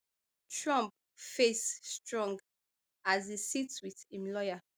trump face strong as e sit wit im lawyer